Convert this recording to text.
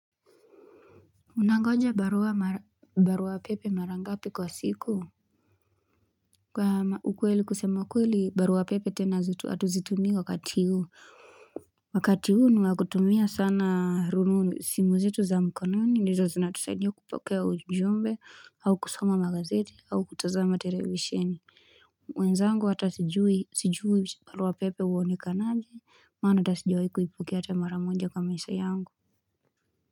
Unangoja barua mara barua pepe marangapi kwa siku Kwa ukweli kusema kweli barua pepe tena hatuzitumii kwa wakati huu Wakati huu ni wa kutumia sana rununu simu zetu za mkononi ndizo zina tusaidia kupokea ujumbe au kusoma magazeti au kutazama televisheni mwenzangu atasijui barua pepe uonekanaje maana atasijawai kuipokea ata maramoja kwa maisha yangu.